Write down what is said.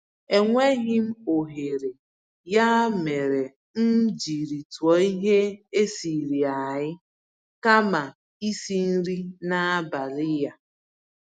Enweghịm ohere, ya mere m jírí tụọ ihe esiri-eai kama isi nri n'abalị a.